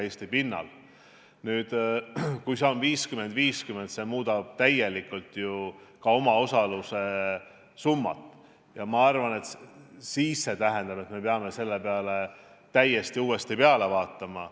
Kui see jaotus oleks 50 : 50, muutuks ju täielikult ka omaosaluse summa, ja ma arvan, et siis peaksime sellele projektile täiesti uue pilguga vaatama.